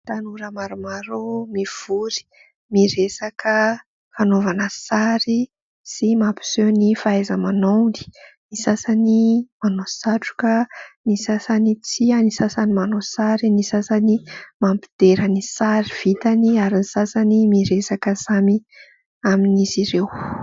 ytanora maromaro mivory miresaka fanaovana sary sy mampiseho ny fahaizamanaony ny sasany manao satroka ny sasany tsia ny sasany manao sary ny sasany mampidera ny sary vitany ary ny sasany miresaka samy amin'izy ireo